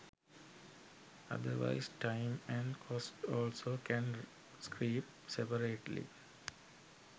otherwise time and cost also can creep separately.